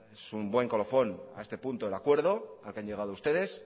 es un buen colofón a este punto del acuerdo al que han llegado ustedes